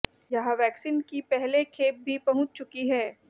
यहां वैक्सीन की पहले खेप भी पहुंच चुकी है